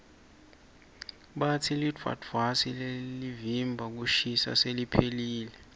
batsi lidvwadvwasi lelivimba kushisa seliphelile